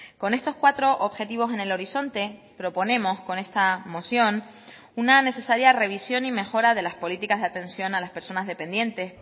con estos cuatro objetivos en el horizonte proponemos con esta moción una necesaria revisión y mejora de las políticas de atención a las personas dependientes